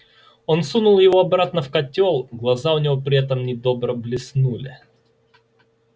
он сунул его обратно в котёл глаза у него при этом недобро блеснули